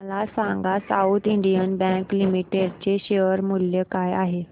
मला सांगा South Indian Bank Limited चे शेअर मूल्य काय आहे